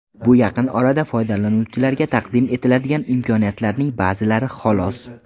Bu yaqin orada foydalanuvchilarga taqdim etiladigan imkoniyatlarning ba’zilari xolos.